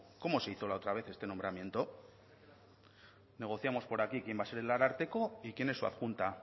cómo se hizo la otra vez este nombramiento negociamos por aquí quien va a ser el ararteko y quién es su adjunta